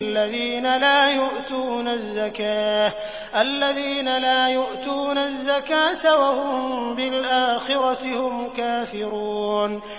الَّذِينَ لَا يُؤْتُونَ الزَّكَاةَ وَهُم بِالْآخِرَةِ هُمْ كَافِرُونَ